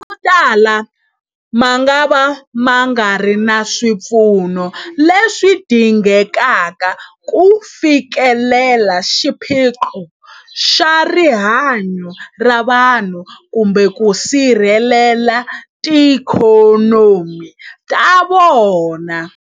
Motala mangava ma nga ri na swipfuno leswi dingekaka ku fikelela xiphiqo xa rihanyu ra vanhu kumbe ku sirhelela tiikhonomi ta vona.